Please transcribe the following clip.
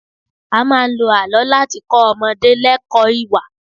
A máa ń lo àlọ́ láti kọ́ ọmọdé lẹkọ̀ọ́ ìwà